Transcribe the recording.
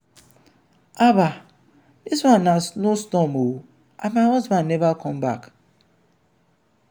haba dis one na snow storm oo and my husband never come back.